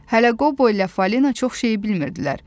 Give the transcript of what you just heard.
Hələ Qobo ilə Falina çox şeyi bilmirdilər.